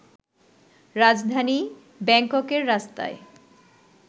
রাজধানী ব্যাংককের রাস্তায়